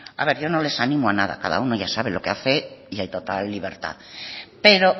a ver yo no les animo a nada cada uno ya sabe lo que hace y en total libertad pero